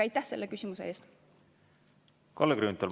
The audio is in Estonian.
Kalle Grünthal, palun!